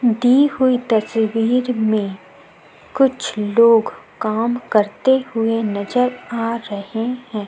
दी हुई तस्वीर में कुछ लोग काम करते हुए नज़र आ रहे हैं।